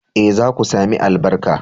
Eh, za ku sami albarka